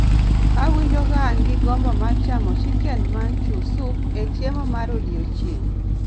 Awinjo ka an gi gombo mar chamo chicken manchow soup e chiemo mar odiechieng '